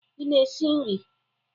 Ị na-esi nri?